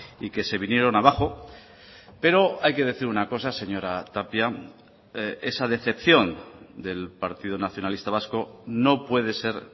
y que se vinieron abajo pero hay que decir una cosa señora tapia esa decepción del partido nacionalista vasco no puede ser